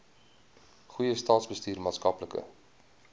goeie staatsbestuur maatskaplike